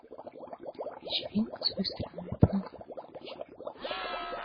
вечеринка с выстрелами по ногам включи